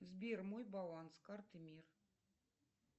сбер мой баланс карты мир